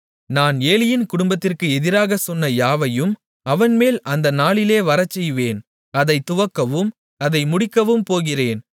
நான் ஏலியின் குடும்பத்திற்கு எதிராகச் சொன்ன யாவையும் அவன்மேல் அந்த நாளிலே வரச்செய்வேன் அதைத் துவங்கவும் அதை முடிக்கவும் போகிறேன்